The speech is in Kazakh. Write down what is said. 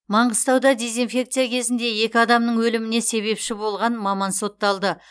маңғыстауда дезинфекция кезінде екі адамның өліміне себепші болған маман сотталды